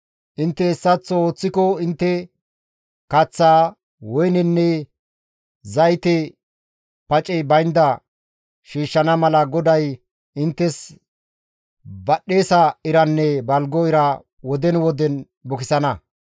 Intte hessaththo ooththiko intte kaththaa, woynenne zayte pacey baynda shiishshana mala GODAY inttes badhdhesa iranne balgo ira woden woden bukisana.